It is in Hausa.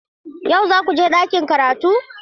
Yau za ku je ɗakin karatu?